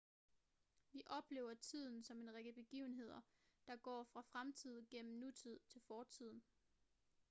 vi oplever tiden som en række begivenheder der går fra fremtiden gennem nutiden til fortiden